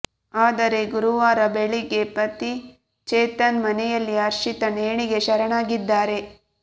ಆದರೆ ಗುರುವಾರ ಬೆಳಗ್ಗೆ ಪತಿ ಚೇತನ್ ಮನೆಯಲ್ಲಿ ಹರ್ಷಿತಾ ನೇಣಿಗೆ ಶರಣಾಗಿದ್ದಾರೆ